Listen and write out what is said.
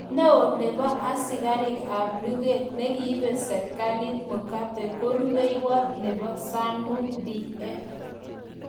Neo nepo askariik ap lugeet negiibe serkaliit Mugabe ko rubeiwoot nepo Zanu-pf